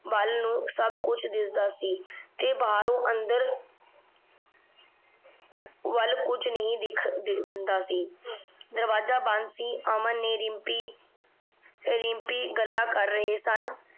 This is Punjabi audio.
ਵਲ ਨੂ ਸਬ ਕੁਛ ਦਿਸਦਾ ਸੀ ਤੇ ਬਾਹਰੋਂ ਅੰਦਰ ਵਲ ਕੁਜ ਨਹੀ ਦਿਖਦਾ ਸੀ ਦਰਵਾਜ਼ਾ ਬੰਦ ਸੀ ਅਮਨ ਨੇ ਰਿਮ੍ਪੀ ਰਿਮ੍ਪੀ ਗੱਲਾਂ ਕਰ ਰਹੇ ਸਨ